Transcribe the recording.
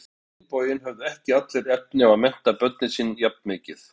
En á hinn bóginn höfðu ekki allir efni á að mennta börnin sín jafn mikið.